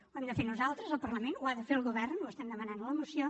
ho hem de fer nosaltres el parlament ho ha de fer el govern ho estem demanant a la moció